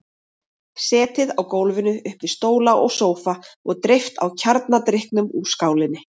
Setið á gólfinu upp við stóla og sófa og dreypt á kjarnadrykknum úr skálinni.